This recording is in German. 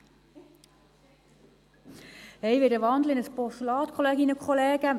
Ich wandle in ein Postulat, liebe Kolleginnen und Kollegen.